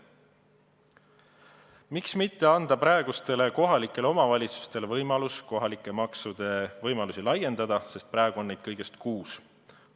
Miks mitte anda kohalikele omavalitsustele võimalus kohalike maksude võimalusi laiendada – praegu on neid kõigest kuus.